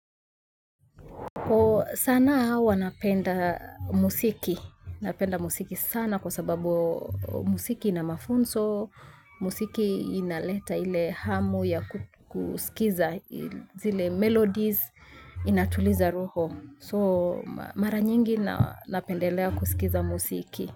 Sana hawa napenda muziki, napenda muziki sana kwa sababu muziki inamafunzo, muziki inaleta ile hamu ya kusikiza, zile melodies inatuliza roho. So mara nyingi napendelea kusikiza muziki.